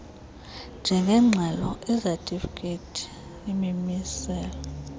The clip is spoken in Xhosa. njengeengxelo izatifikhethi imimiselo